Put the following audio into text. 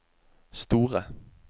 store